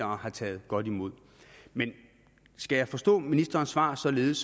har taget godt imod men skal jeg forstå ministerens svar således